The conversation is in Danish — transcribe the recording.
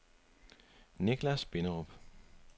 Nichlas Binderup